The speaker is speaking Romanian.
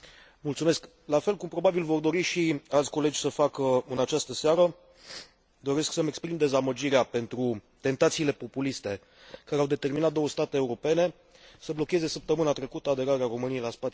La fel cum probabil vor dori și alți colegi să facă în această seară, doresc să mi exprim dezamăgirea față de tentațiile populiste care au determinat două state europene să blocheze săptămâna trecută aderarea României la spațiul Schengen.